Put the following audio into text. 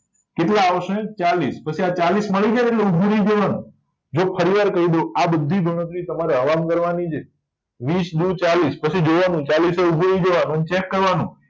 કેટલા આવશે ચાલીસ પછી આ ચાલીસ મળીજાય એટલે જો ફરીવાર કયદવ આ બધી ગણતરી તમારે હવામાં કરવાની છે વીસ દુ ચાલીસ પછી જોવાનું ચાલીસે ઉભું રય જવાનું ચેક કરવાનું